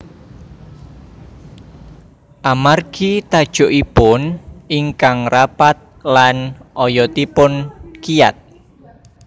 Amargi tajukipun ingkang rapat lan oyotipun kiyat